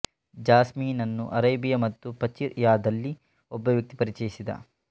ಜಾಸ್ಮಿನನ್ನು Arabia ಮತ್ತು ಪಚಿರ್ ಯಾದಲ್ಲಿ ಒಬ್ಬ ವ್ಯಕ್ತಿ ಪರಿಚಯಿಸಿದ